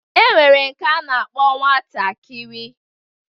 E nwere nwoke a na-akpọ nwatakiri